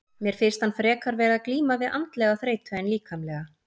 Mér finnst hann frekar vera að glíma við andlega þreytu en líkamlega.